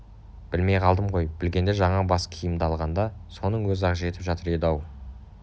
білмей қалдым ғой білгенде жаңа бас киімімді алғаңда соның өзі-ақ жетіп жатыр еді-ау